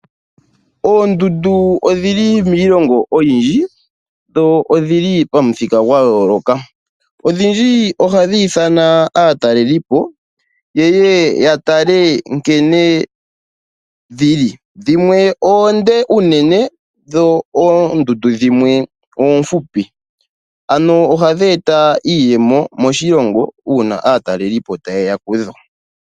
Oondundu odhili miilongo oyindji dho odhili pamuthika gwa yooloka, odhindji ohadhi ithana aatalipo yeye ya tale nkene dhili, dhimwe oonde unene, dho oondundu dhimwe oofupi ano ohadhi eta iiyemo moshilongo uuna aatalelipo taye ya kudho.